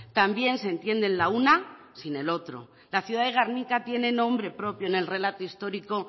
también se entienden la una sin el otro la ciudad de gernika tiene nombre propio en el relato histórico